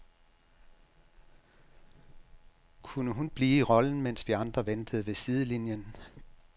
Kunne hun blive i rollen, mens vi andre ventede ved sidelinjen?